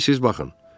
İstəyirsiz baxın.